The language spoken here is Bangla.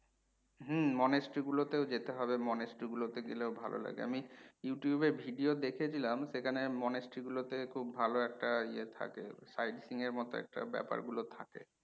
হম monastery গুলো তেও যেতে হবে monastery গুলোতে গেলেও ভালো লাগে। আমি you tube এ video দেখেছিলাম, সেখানের monastery গুলোতে খুব ভালো একটা ইয়ে থাকে sightseeing এর মতো ব্যাপার গুলো থাকে।